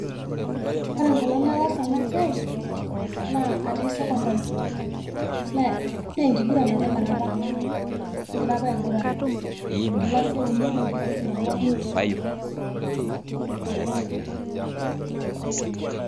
Ore enkolong nataasa enasiai naa atii sekondari na enkiguran apa inakata, kingira apa aiguran enkilasi euni we ne onguan.